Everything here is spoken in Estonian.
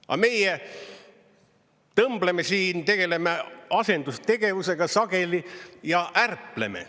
Aga meie tõmbleme siin, tegeleme asendustegevusega sageli ja ärpleme.